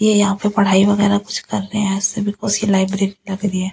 ये यहां पे पढ़ाई वगैरह कुछ कर रहे हैं से बिकॉज ये लाइब्रेरी लग रही है।